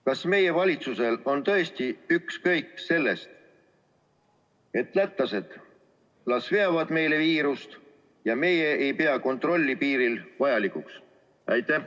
Kas meie valitsusel on tõesti ükskõik sellest, et lätlased veavad meile viirust, ja me ei pea piirikontrolli vajalikuks?